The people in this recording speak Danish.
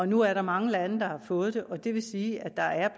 nu er der mange lande der har fået den og det vil sige at der er